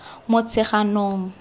motsheganong